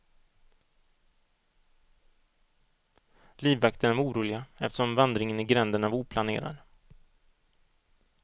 Livvakterna var oroliga eftersom vandringen i gränderna var oplanerad.